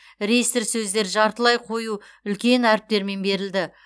реестр сөздер жартылай қою үлкен әріптермен берілді